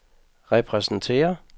repræsenterer